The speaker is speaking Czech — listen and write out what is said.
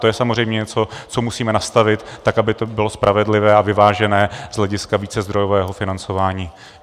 To je samozřejmě něco, co musíme nastavit, tak aby to bylo spravedlivé a vyvážené z hlediska vícezdrojového financování.